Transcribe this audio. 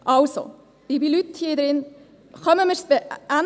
Also, liebe Leute hier im Saal, kriegen wir es hin!